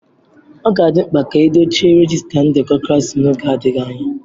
Ọ ga-adị mkpa ka edochie rejiista ndekọ klaasị n'oge adịghị anya.